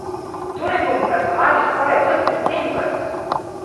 Torej bomo praznovali skoraj ves december!